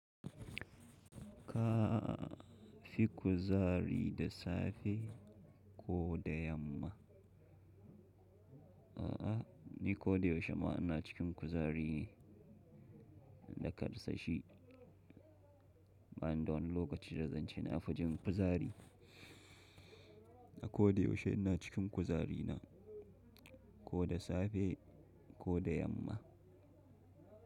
Ka fi kuzari da safe ko da yamma? A'a, ni ko da yaushe ma ina cikin kuzari ne da kasashe, bani da wani lokaci da zan ce na fi jin kuzari. Ko da yaushe ina cikin kuzari na, ko dasafe ko dayamma.